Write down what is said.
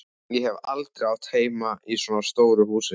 Ég hef aldrei átt heima í svona stóru húsi.